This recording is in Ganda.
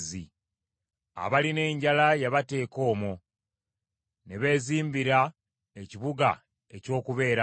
abalina enjala n’abateeka omwo, ne beezimbira ekibuga eky’okubeeramu,